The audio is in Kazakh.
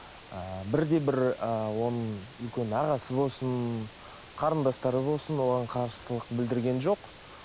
ы бір де бір ы оның үлкен ағасы болсын қарындастары болсын оған қарсылық білдірген жоқ